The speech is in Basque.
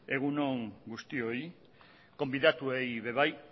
egun on guztioi gonbidatuei ere bai